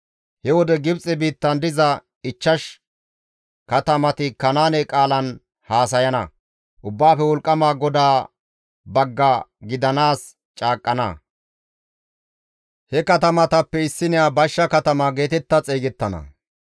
He wode Gibxe biittan diza ichchash katamati Kanaane qaalan haasayana; Ubbaafe Wolqqama GODAA bagga gidanaas caaqqana. He katamatappe issiniya Bashsha Katama geetetta xeygettana.